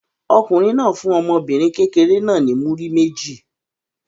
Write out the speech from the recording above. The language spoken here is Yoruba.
Ọkùnrin náà fún ọmọbìnrin kékeré náà ní múrí méjì.